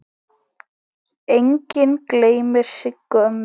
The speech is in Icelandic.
Enginn gleymir Siggu ömmu.